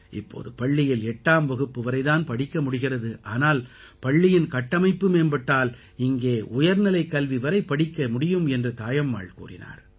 இப்போது பள்ளியில் 8ஆம் வகுப்பு வரை தான் படிக்க முடிகிறறது ஆனால் பள்ளியின் கட்டமைப்பு மேம்பட்டால் இங்கே உயர்நிலைக்கல்வி வரை படிக்க முடியும் என்று தாயம்மாள் கூறினார்